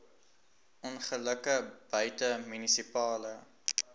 ongelukke buite munisipale